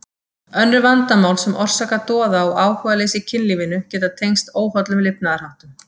Önnur vandamál sem orsaka doða og áhugaleysi í kynlífinu geta tengst óhollum lifnaðarháttum.